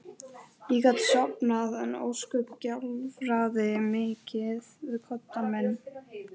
Ég gat sofnað en ósköp gjálfraði mikið við koddann minn.